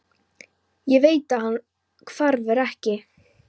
Ég veit að hann hverfur ekki.